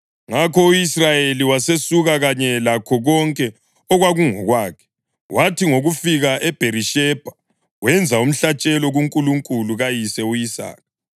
Ngakho u-Israyeli wasesuka kanye lakho konke okwakungokwakhe, wathi ngokufika eBherishebha wenza umhlatshelo kuNkulunkulu kayise u-Isaka.